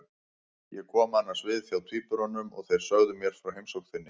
Ég kom annars við hjá tvíburunum og þeir sögðu mér frá heimsókn þinni.